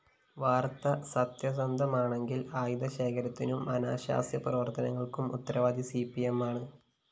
വാര്‍ത്ത സത്യസന്ധമാണെങ്കില്‍ ആയുധ ശേഖരത്തിനും അനാശാസ്യ പ്രവര്‍ത്തനങ്ങള്‍ക്കും ഉത്തരവാദി സിപിഎമ്മാണ്